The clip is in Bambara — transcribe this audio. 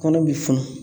Kɔnɔ bi funun